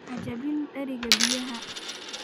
Ha jebin dheriga biyaha.